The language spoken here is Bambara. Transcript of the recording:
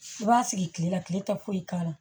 I b'a sigi kilela kile tɛ foyi k'a la